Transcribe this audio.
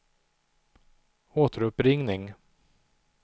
återuppringning